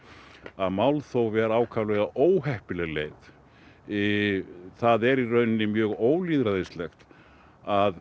að málþóf er ákaflega óheppileg leið það er í rauninni mjög ólýðræðislegt að